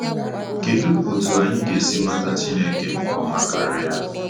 Kedụ otú anyị ga-esi mata Chineke nke ọma karịa?